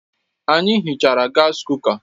Anyị hichara gas kuka